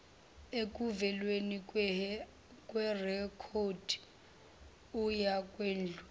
ekuvezweni kwerekhodi uyakwedlula